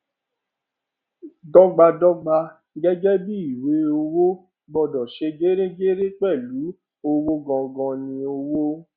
dọgbadọgba gẹgẹ bíi ìwé owó gbọdọ ṣe geregere pẹlú owó gangan ni ọwọ